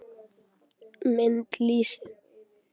Mynd: Lýsi.